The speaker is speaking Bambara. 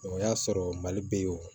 o y'a sɔrɔ mali bɛ yen o